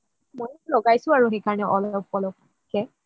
মইয়ো লগাইছো আৰু সেইকাৰণে অলপ অলপ কে